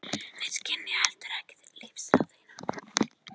Þeir skynja ekki heldur lífsþrá þína.